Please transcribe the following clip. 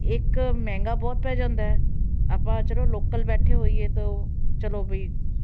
ਇੱਕ ਮਹਿੰਗਾ ਬਹੁਤ ਪੈ ਜਾਂਦਾ ਹੈ, ਆਪਾਂ ਚਲੋ local ਬੈਠੇ ਹੋਈਏ ਤਾਂ ਚਲੋ ਵੀ